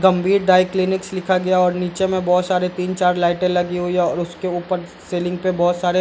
गंभीर dry cleaners लिखा गया और नीचे में बहुत सारे तीन-चार लाइटे लगी हुई है और उसके ऊपर सीलिंग पे बहुत सारे --